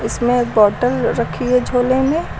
इसमें एक बॉटल रखी है झोले में।